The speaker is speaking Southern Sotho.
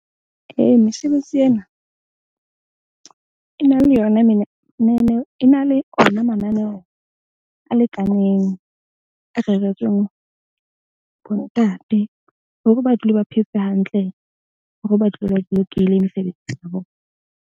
Ee, mesebetsi ena e na le yona e na le ona mananeo a lekaneng a reretsweng bo ntate, hore ba dule ba phetse hantle hore ba dule ba bolokehile mesebetsi .